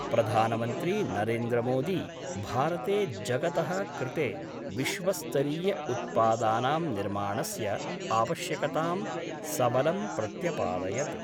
प्रधानमन्त्री नरेन्द्र मोदी भारते जगत: कृते विश्वस्तरीय उत्पादानां निर्माणस्य आवश्यकतां सबलं प्रत्यपादयत्।